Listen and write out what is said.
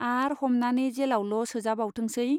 आर हमनानै जेलावल' सोजाबावथोंसै !